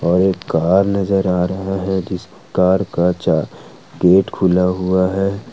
और एक कार नजर आ रहा है इस कार का चा गेट खुला हुआ है।